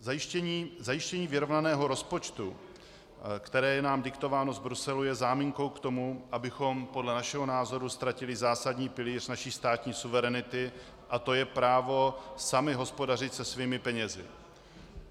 Zajištění vyrovnaného rozpočtu, které je nám diktováno z Bruselu, je záminkou k tomu, abychom podle našeho názoru ztratili zásadní pilíř naší státní suverenity, a to je právo sami hospodařit se svými penězi.